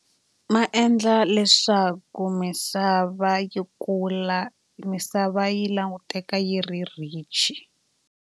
Ma endla leswaku misava yi kula misava yi languteka yi ri rich.